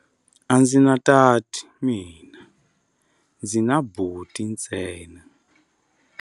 A ndzi na tati mina, ndzi na buti ntsena.